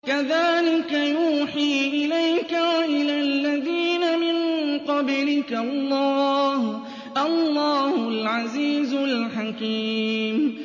كَذَٰلِكَ يُوحِي إِلَيْكَ وَإِلَى الَّذِينَ مِن قَبْلِكَ اللَّهُ الْعَزِيزُ الْحَكِيمُ